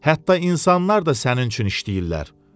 Hətta insanlar da sənin üçün işləyirlər.